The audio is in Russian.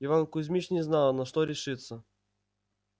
иван кузмич не знал на что решиться